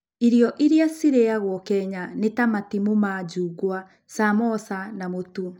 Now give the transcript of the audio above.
Irio iria ciaragio Kenya nĩ ta matimũ ma njungwa, samosa, na mũtu.